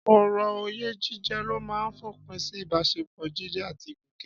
Ọ̀rọ̀ oyè jíjẹ ló máa fòpin sí ìbáṣepọ̀ Jídé àti Gòkè.